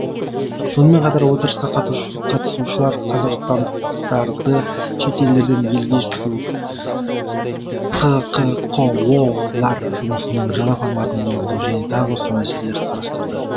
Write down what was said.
сонымен қатар отырысқа қатысушылар қазақстандықтарды шет елдерден елге жеткізу хқкоо лар жұмысының жаңа форматын енгізу және тағы басқа мәселелерді қарастырды